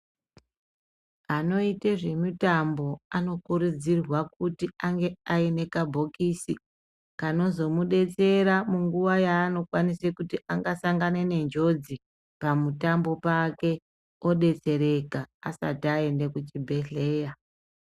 Anoite zvemutambo anokurudzirwa kuti ange aine kabhokisi kanozomudetsera munguwa yaanokwanisa kuti angasangana nenjodzi pamutambo pake odotsereka asati aende kuchibhedhleya.